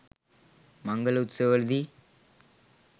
මංගල උත්සවවල දී